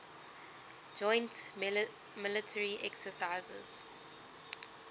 joint military exercises